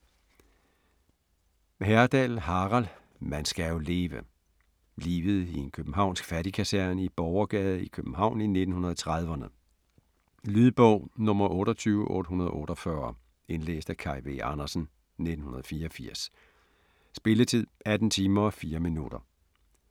Herdal, Harald: Man skal jo leve Livet i en københavnsk fattigkaserne i Borgergade i København i 1930'rne. Lydbog 28848 Indlæst af Kaj V. Andersen, 1984. Spilletid: 18 timer, 4 minutter.